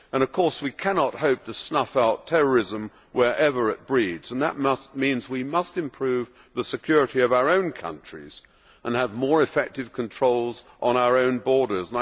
Of course, we cannot hope to snuff out terrorism wherever it breeds, and that means we must improve the security of our own countries and have more effective controls on our own borders.